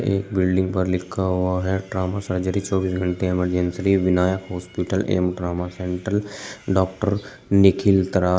एक बिल्डिंग पर लिखा हुआ है ट्रामा सर्जरी चौबीस घंटे इमर्जेंसी विनायक हॉस्पिटल एवं ट्रामा सेंटर डॉक्टर निखिल तरा--